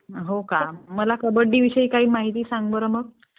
हो का? मला कबड्डीविषयी काही माहिती सांग बरं मग